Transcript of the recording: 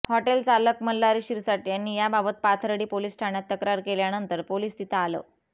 hotel चालक मल्हारी शिरसाठ यांनी याबाबत पाथर्डी पोलीस ठाण्यात तक्रार केल्यानंतर पोलीस तिथं आलं